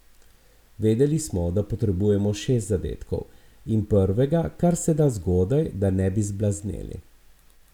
Vedeli smo, da potrebujemo šest zadetkov in prvega karseda zgodaj, da ne bi zblazneli.